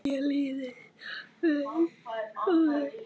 Mér leiðist skóli.